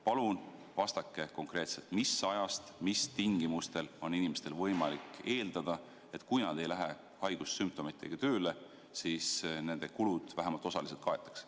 Palun vastake konkreetselt, mis ajast ja mis tingimustel on inimestel alust eeldada, et kui nad ei lähe haigussümptomitega tööle, siis nende kulud vähemalt osaliselt kaetakse.